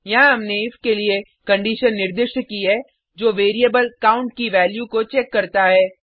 यहाँ हमने इफ के लिए कंडिशन निर्दिष्ट की है जो वैरिएबल काउंट की वैल्यू को चेक करता है